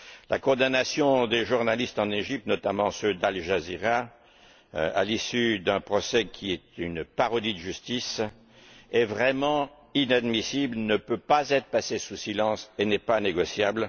La condamnation des journalistes en Égypte, notamment ceux d'Al Jazeera, à l'issue d'un procès qui est une parodie de justice, est vraiment inadmissible, ne peut pas être passée sous silence et n'est pas négociable.